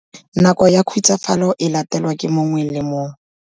Nako ya khutsafalo e latelwa ke mongwe le mongwe.